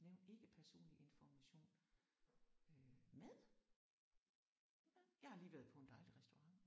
Nævn ikke personlig information øh mad. Jeg har lige været på en dejlig restaurant